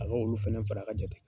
A ka olu fɛnɛ fara ka jate